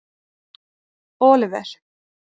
Oliver